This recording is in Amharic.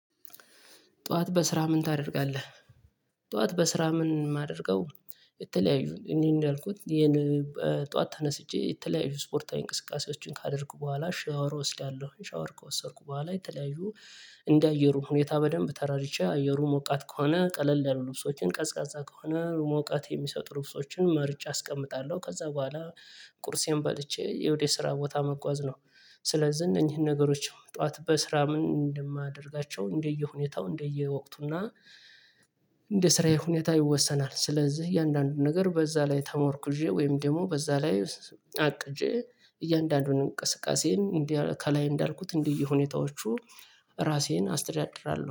ጠዋት በስራህ ምን ታደርጋለህ? ጠዋት በስራ ምን ማደርገው? የተለያዩ እንዲህ እንዳልኩት ይሄን ጠዋት ተነስቼ የተለያዩ ስፖርታዊ እንቅስቃሴዎችን ካደረኩ በኋላ ሻወር እወስዳለሁ ሻወር ከወሰድኩ በኋላ የተለያዩ እንደ አየሩ ሁኔታ በደንብ ተረድቼ አየሩ ሞቃት ከሆነ ቀለል ያሉ ልብሶችን ቀዝቃዛ ከሆነ ሙቀት የሚሰጡ ልብሶችን መርጬ አስቀምጣለሁ ከዛ በኋላ ቁርሴን በልቼ ወደ ስራ ቦታ መጓዝ ነው። ስለዚህ እነኚህን ነገሮች ጠዋት በስራ ምን እንደማደርጋቸው እንደየሁኔታው እንደየወቅቱና እንደ ስራዬ ሁኔታ ይወሰናል። ስለዚህ የእያንዳንዱን ነገር በዛ ላይ ተሞርኩዤ ወይም ደግሞ በዛ ላይ አቅጄ እያንዳንዱን እንቅስቃሴዬን እንዲህ ከላይ እንዳልኩት እንዲህ ሁኔታዎቹ ራሴን አስተዳድራለሁ።